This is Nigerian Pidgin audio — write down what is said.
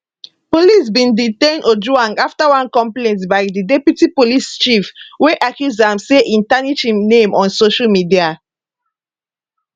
police bin detain ojwang afta one complaint by di deputy police chief wey accuse am say e tarnish im name on social media